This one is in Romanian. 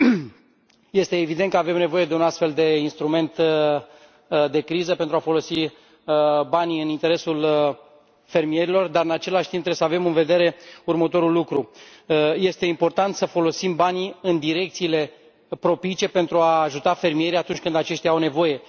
Domnule președinte, este evident că avem nevoie de un astfel de instrument de criză pentru a folosi banii în interesul fermierilor, dar în același timp trebuie să avem în vedere următorul lucru este important să folosim banii în direcțiile propice pentru a ajuta fermierii atunci când aceștia au nevoie.